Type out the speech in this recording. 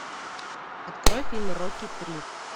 открой фильм рокки три